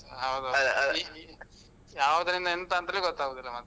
ಹೌದೌದು ಯಾವ್ದ್ರಿಂದ, ಎಂತ ಅಂತಾನೆ ಗೊತ್ತಾಗುದಿಲ್ಲ ಮತ್ತೆ.